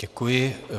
Děkuji.